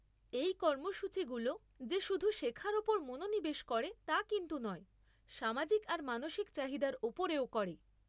এই কর্মসূচীগুলো যে শুধু শেখার ওপর মনোনিবেশ করে তা কিন্তু নয়, সামাজিক আর মানসিক চাহিদার ওপরেও করে।